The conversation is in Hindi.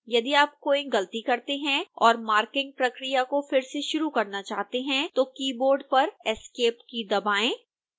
यदि आप कोई गलती करते हैं और मार्किंग प्रक्रिया को फिर से शुरू करना चाहते हैं तो कीबोर्ड पर esc key दबाएँ